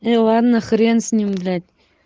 ну ладно хрен с ним блять